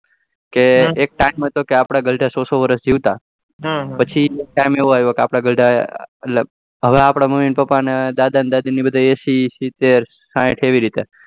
કે એક time માં હતો કે આપડા ગરડા સૌ સૌ વર્ષ જીવતા પછી એક time એવો આવ્યો કે આપડા હવે આપડા મમી પાપા ને દાદા દાદી ને એસી ન સીતેર ને સાહીઠ એવી રીતે